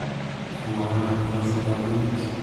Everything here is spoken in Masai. kamaa inosita monyit